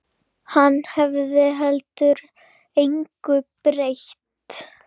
Það hefði heldur engu breytt.